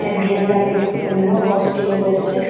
Dress up এর জন্য costume পড়েছে।